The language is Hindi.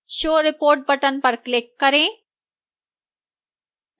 show report button पर click करें